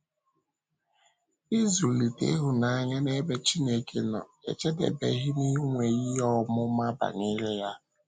Ịzùlite ịhụnanya n’ebe Chineke nọ ejedebeghị n’inwe ihe ọmụma banyere ya.